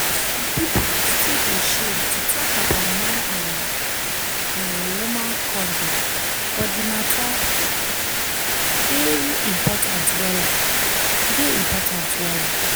some pipu still dey shame to talk about man and[um]woman condom but di matter dey important wella dey important wella